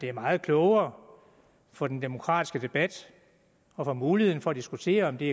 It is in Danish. er meget klogere for den demokratiske debat og for muligheden for at diskutere om det